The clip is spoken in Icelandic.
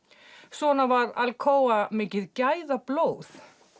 svona var Alcoa mikið gæðablóð